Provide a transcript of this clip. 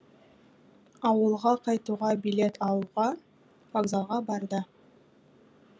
ауылға қайтуға билет алуға вокзалға барды